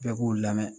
Bɛɛ k'u lamɛn